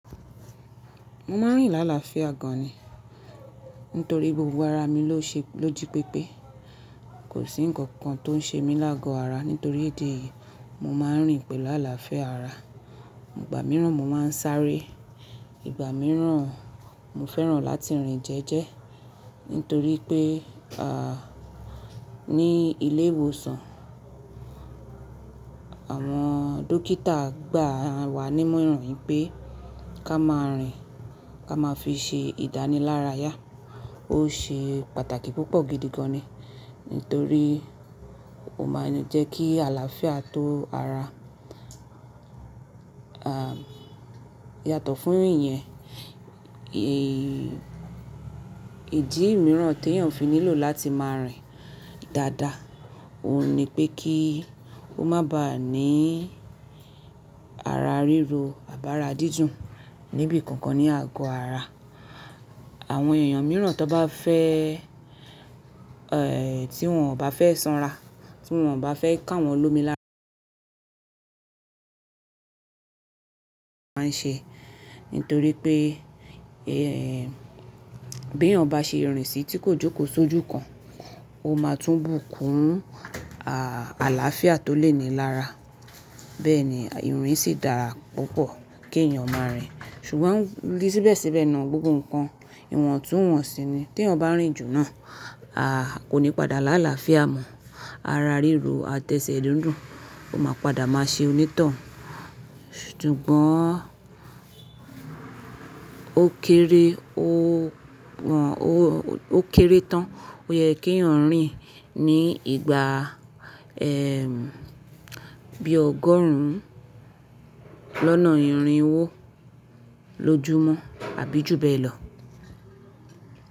Mo máa ń rìn làlááfíà gan ni. Nítorí gbogbo ara mi ló ṣe-- lójí pépé. Kò sí ǹkankan tó ń ṣe mí lágo ara. Nítorí ìdí èyìí, mo máa ń rìn pẹ̀lú àlàáfíà ara. Ìgbà mìíràn mo máa ń sáré. Ìgbà mìíràn mo fẹ́ràn láti rìn jẹ́ẹ́jẹ́. Nítorí pé, à, ní ilé ìwòsàn, àwọn dókítà gbà wá nímọ̀ràn pé ká máa rìn, ká máa fi ṣe ìdánilárayá. Ó ṣe pàtàkì púpọ̀ gidi gan ni. Nítorí ó máa ń jẹ́ kí àlàáfíà tó ara, à, yàtọ̀ fún ìyẹn. Îdì mìíràn tí èèyàn fi nílò láti máa rìn dáadáa, òun ni pé kí ó má bá à ní ara ríro àbára dídùn níbi kankan ní àgọ ara. Àwọn èèyàn mìíràn tó bá fẹ́, ẹ, tí wọ́n ò bá fẹ́ sanra, tí wọ́n ò bá fẹ́ ká wọn lomi lá máa ń ṣe. Nítorí pé, ẹ, bí èèyàn bá ṣe rìn sì tí kò jókòó sójú kan, ó máa tún bùkún, à, àlàáfíà tó lé ni lára. Bẹ́ẹ̀ ni, ìrìn sì dára púpọ̀ kí èèyàn ó máa rìn. Ṣùgbọ́n di síbẹ̀síbẹ̀ náà gbogbo nǹkan ìwọ̀ntúnwọ̀nsí ni. Tí èèyàn bá rìn jù náà, a, kò ní padà làlááfíà mọ́ ara ríro àtẹ́ṣẹ́ dúndùn. Ó máa padà máa ṣe onítọ̀hún. Ṣùgbọ́n ó kéré ó wọ̀n-- ó, ó kéré tán ó yẹ kí ẹ̀yàn rìn ní ìgbà, ẹ, bí ọgọ́rùn-ún lọ́nà ìrìn wo ló jù mọ́ àbí ju bẹ́ẹ̀ lọ.